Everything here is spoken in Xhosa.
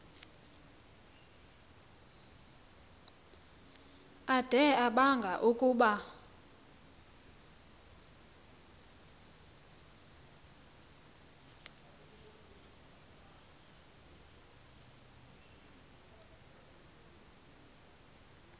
ade abanga ukuba